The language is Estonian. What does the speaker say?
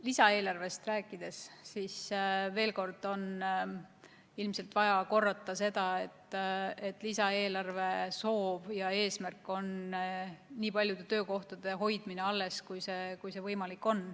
Lisaeelarvest rääkides on ilmselt veel kord vaja korrata seda, et lisaeelarve eesmärk on nii paljude töökohtade alleshoidmine, kui on võimalik.